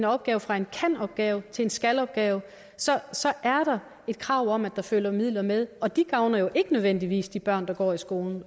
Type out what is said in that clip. opgave fra en kan opgave til en skal opgave så så er der et krav om at der følger midler med og de gavner jo ikke nødvendigvis de børn der går i skolen